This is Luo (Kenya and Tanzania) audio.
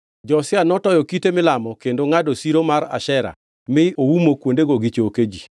Josia notoyo kite milamo kendo ongʼado siro mar Ashera mi oumo kuondego gi choke ji.